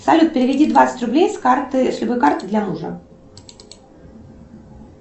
салют переведи двадцать рублей с карты с любой карты для мужа